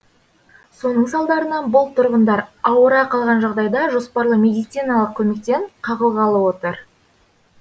соның салдарынан бұл тұрғындар ауыра қалған жағдайда жоспарлы медициналық көмектен қағылғалы отыр